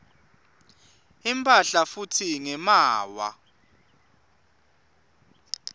imphahla futsi ngemaawa